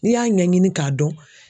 N'i y'a ɲɛɲini k'a dɔn